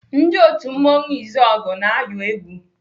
Ndị otu mmanwụ Izọgụ na-ayọ egwu.